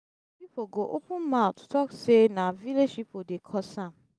som pipo go open mouth tok sey na village pipo dey cause am